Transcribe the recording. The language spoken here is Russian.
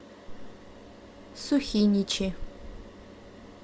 сухиничи